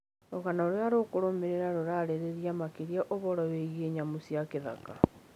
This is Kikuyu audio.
Rũgano rũrĩa rũkũrũmĩrĩra rũraarĩrĩria makĩria ũhoro wĩgiĩ nyamũ cia gĩthaka.